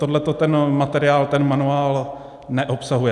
Tohle ten materiál, ten manuál neobsahuje.